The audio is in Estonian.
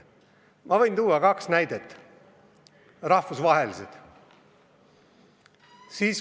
Ma võin tuua kaks näidet, rahvusvahelist.